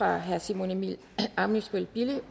herre simon emil ammitzbøll bille